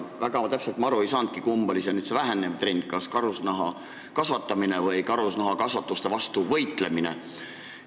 Väga täpselt ma aru ei saanudki, kumb on see vähenev trend, kas karusloomade kasvatamine või karusloomakasvanduste vastu võitlemine.